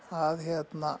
að